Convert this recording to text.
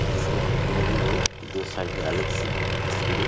बीच में फोटू लगी हुई है दो साईड में अलग सी हैं तस्वीरें --